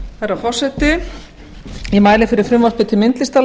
herra forseti ég mæli fyrir frumvarpi til